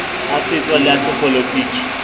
a setso le a sepolotiki